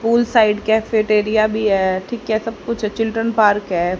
Pool side cafeteria भी है ठीक है सब कुछ चिल्ड्रन पार्क है।